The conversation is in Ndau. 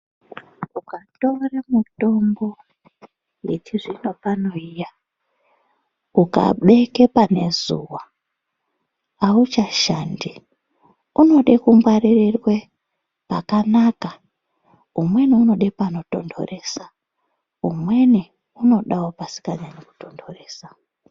Mukatore mitombo, yechizvinopano iya, ukabeke pane zuwa, auchashandi. Unode kungwaririrwe, pakanaka, umweni unode panotontoresa, umweni unodawo pasingatontoresi.